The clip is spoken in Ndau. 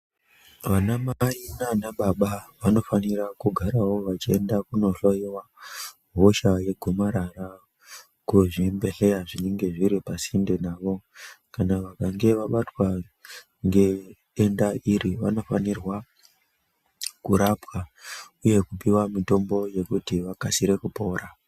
Vanamai naanababa vanofanira kugarawo vachienda kunohloyiwa hosha yegomarara kuzvibhedhlera zvinenge zviri pasinde navo. Kana vakange vabatwa ngedenda iri vanofanirwa kurapwa uye kupiwa mitombo yekuti vakasire kupona.